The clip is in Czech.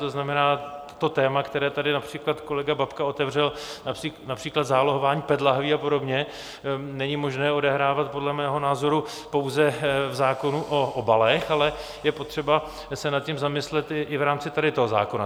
To znamená, téma, které tady například kolega Babka otevřel, například zálohování PET lahví a podobně, není možné odehrávat podle mého názoru pouze v zákonu o obalech, ale je potřeba se nad tím zamyslet i v rámci tady toho zákona.